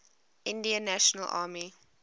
indian national army